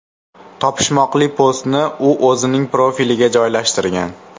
Topishmoqli postni u o‘zining profiliga joylashtirgan .